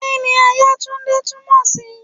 Kí ni Àyàtúndé túmọ̀ sí?